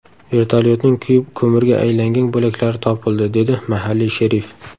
Vertolyotning kuyib ko‘mirga aylangan bo‘laklari topildi”, dedi mahalliy sherif.